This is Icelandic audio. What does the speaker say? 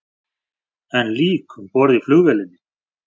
Enn lík um borð í flugvélinni